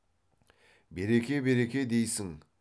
береке береке дейсің